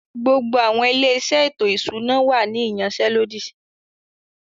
Gbogbo àwọn “ilé-iṣẹ́ ètò ìṣúná” wà ní ìyansẹ́lódì